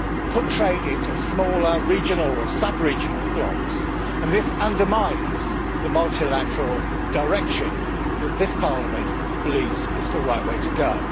put trade into smaller regional or subregional blocks, and this undermines the multilateral direction which this Parliament believes is the right way to go.